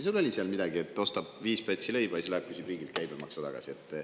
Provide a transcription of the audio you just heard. Seal oli midagi, et inimene ostab viis pätsi leiba ja siis läheb küsib riigilt käibemaksu tagasi.